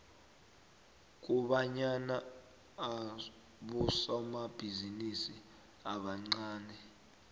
kobanyana abosomabhizinisi abancani